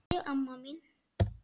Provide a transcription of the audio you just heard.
Sæl, amma mín.